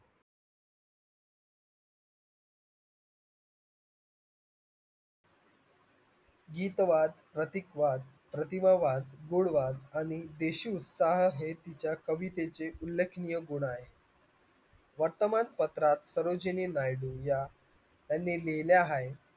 गीत वाच, प्रतीक वाच, प्रति व वाच, गुण वाच कवितेचे उल्लेखनीय गुण आहेत क्षेत्रात या यांनी लिहिल्या आहेत